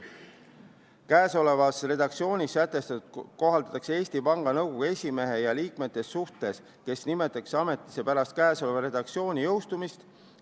Käesolevas redaktsioonis sätestatut kohaldatakse Eesti Panga Nõukogu esimehe ja liikmete suhtes, kes nimetatakse ametisse pärast käesoleva redaktsiooni jõustumist.